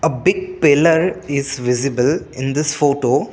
big piller is visible in this photo.